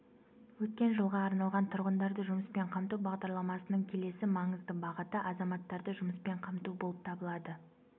өткен жылға арналған тұрғындарды жұмыспен қамту бағдарламасының келесі маңызды бағыты азаматтарды жұмыспен қамту болып табылады